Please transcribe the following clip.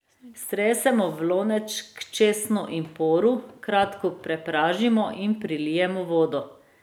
Stresemo v lonec k česnu in poru, kratko popražimo in prilijemo vodo.